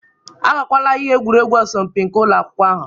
Agakwala ihe egwuregwu asọmpi nke ụlọ akwụkwọ ahụ